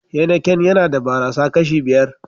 "Heineken " yana da barasa kashi biyar.